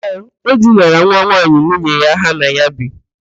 Ee, o dinara nwa nwaanyị nwunye ya ha na ya bi.